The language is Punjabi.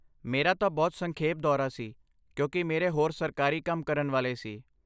ਮੇਰਾ ਤਾਂ ਬਹੁਤ ਸੰਖੇਪ ਦੌਰਾ ਸੀ ਕਿਉਂਕਿ ਮੇਰੇ ਹੋਰ ਸਰਕਾਰੀ ਕੰਮ ਕਰਨ ਵਾਲੇ ਸੀ